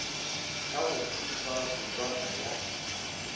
ka go thušwa kutšwana ya